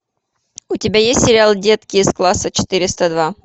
у тебя есть сериал детки из класса четыреста два